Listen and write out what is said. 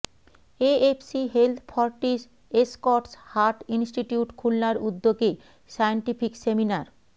AFC health Fortis Escorts heart institute খুলনার উদ্যোগে scientific seminar